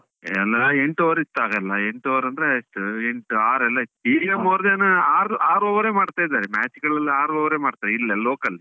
ಎಲ್ಲಾ ಎಂಟು over ಇತ್ತಾಗೆಲ್ಲ, ಎಂಟು over ಅಂದ್ರೆ ಇತ್ತು, ಎಂಟು, ಆರು ಎಲ್ಲ ಇತ್ತು, ಈಗ more than ಆರು ಆರು over ಯೆ ಮಾಡ್ತಾ ಇದ್ದಾರೆ. match ಗಳಲ್ಲಿ ಆರು over ಯೆ ಮಾಡ್ತಾ, ಇಲ್ಲೆ local .